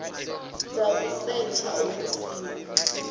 dza u setsha hu siho